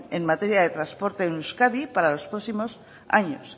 en materia de transporte en euskadi para los próximos años